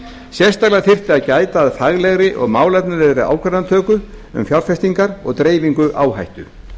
sérstaklega þyrfti að gæta að faglegri og málefnalegri ákvarðanatöku um fjárfestingar og dreifingu áhættu